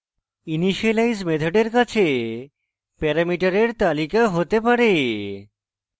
initialize মেথডের কাছে প্যারামিটারের তালিকা হতে পারে